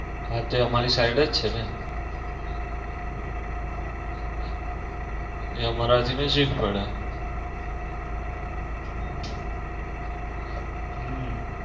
હા તે અમારી side જ છે ને અમારા થી નજીક પડે હમ